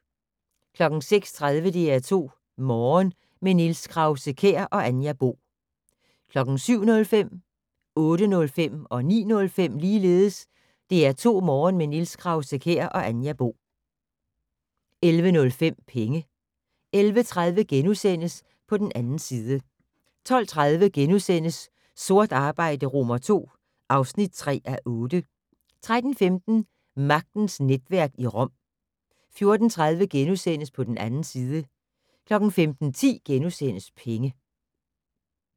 06:30: DR2 Morgen - med Niels Krause-Kjær og Anja Bo 07:05: DR2 Morgen - med Niels Krause-Kjær og Anja Bo 08:05: DR2 Morgen - med Niels Krause-Kjær og Anja Bo 09:05: DR2 Morgen - med Niels Krause-Kjær og Anja Bo 11:05: Penge 11:30: På den 2. side * 12:30: Sort arbejde II (3:8)* 13:15: Magtens netværk i Rom 14:30: På den 2. side * 15:10: Penge *